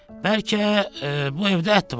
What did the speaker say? Bəlkə bu evdə ət var?